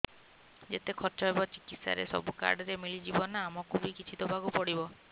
ଯେତେ ଖର୍ଚ ହେବ ଚିକିତ୍ସା ରେ ସବୁ କାର୍ଡ ରେ ମିଳିଯିବ ନା ଆମକୁ ବି କିଛି ଦବାକୁ ପଡିବ